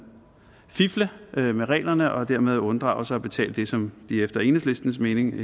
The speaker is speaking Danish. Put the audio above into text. fifle med reglerne og dermed unddraget sig at betale det som de efter enhedslistens mening